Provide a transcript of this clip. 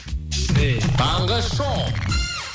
таңғы шоу